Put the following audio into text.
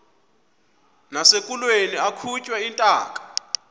nasekulweni akhutshwe intaka